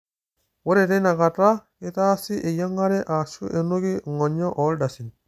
ore teina kata, keitaasi eyiangare aashu enuki ng'onyo o ildasin